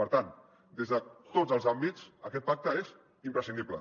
per tant des de tots els àmbits aquest pacte és imprescindible